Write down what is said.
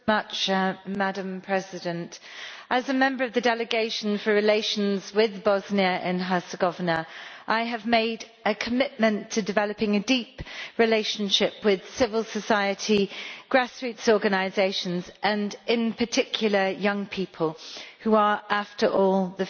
Madam President, as a member of the delegation for relations with Bosnia and Herzegovina I have made a commitment to developing a deep relationship with civil society grassroots organizations and, in particular, young people, who are, after all, the future.